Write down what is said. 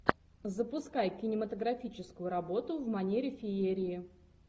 запускай кинематографическую работу в манере феерии